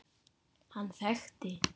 Hann þekkti